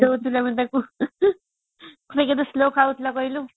କହୁଥିଲେ ଆମେ ତାକୁ ସେ କେତେ slow ଖାଉଥିଲା କହିଲୁ